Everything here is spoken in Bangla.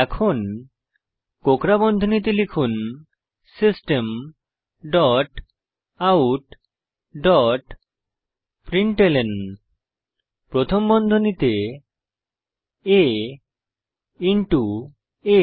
এখন কোঁকড়া বন্ধনীতে লিখুন system dot out dot println প্রথম বন্ধনীতে a ইন্টো আ